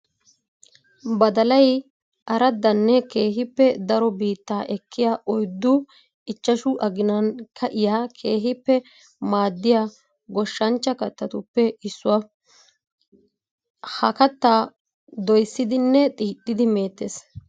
Badallay araddanne keehippe daro biitta ekkiya oyddu ichchashshu aginan ka'iya keehippe maadiya goshshanchcha kattatuppe issuwa. Ha katta doyssidinne xiixxiddi meetes.